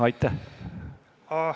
Aitäh!